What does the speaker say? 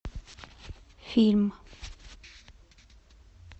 фильм